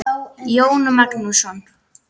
Jón Magnús.